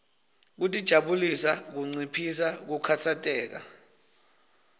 kutijabulisa kunciphisa kukhatsateka